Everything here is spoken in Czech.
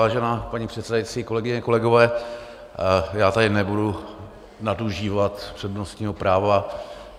Vážená paní předsedající, kolegyně, kolegové, já tady nebudu nadužívat přednostního práva.